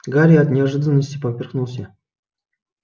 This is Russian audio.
гарри от неожиданности поперхнулся